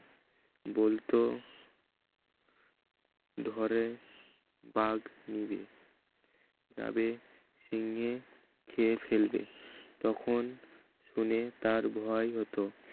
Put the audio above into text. বলতো ধরে বাঘ নিবে যাবে সিংহে খেয়ে ফেলবে তখন শুনে তার ভয় হতো